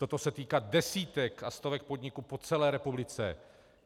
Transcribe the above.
Toto se týká desítek a stovek podniků po celé republice.